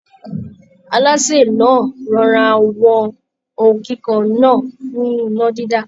Alásè náà rọra wọn ohun kíkan náà fún iná dídá